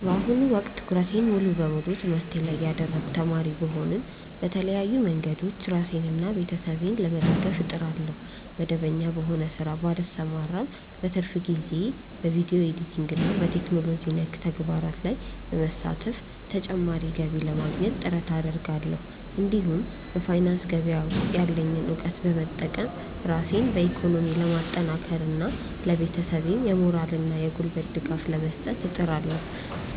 በአሁኑ ወቅት ትኩረቴን ሙሉ በሙሉ በትምህርቴ ላይ ያደረግኩ ተማሪ ብሆንም፣ በተለያዩ መንገዶች ራሴንና ቤተሰቤን ለመደገፍ እጥራለሁ። መደበኛ በሆነ ሥራ ባልሰማራም፣ በትርፍ ጊዜዬ በቪዲዮ ኤዲቲንግና በቴክኖሎጂ ነክ ተግባራት ላይ በመሳተፍ ተጨማሪ ገቢ ለማግኘት ጥረት አደርጋለሁ። እንዲሁም በፋይናንስ ገበያ ውስጥ ያለኝን እውቀት በመጠቀም ራሴን በኢኮኖሚ ለማጠናከርና ለቤተሰቤም የሞራልና የጉልበት ድጋፍ ለመስጠት እጥራለሁ።